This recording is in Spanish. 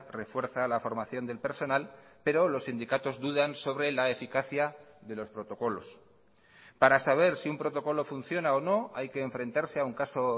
refuerza la formación del personal pero los sindicatos dudan sobre la eficacia de los protocolos para saber si un protocolo funciona o no hay que enfrentarse a un caso